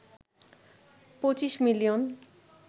২৫ million